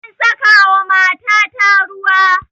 An saka wa matata ruwa